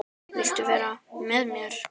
Viltu vera með mér?